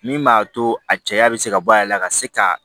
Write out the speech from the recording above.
Min b'a to a caya bɛ se ka bɔ a yɛrɛ la ka se ka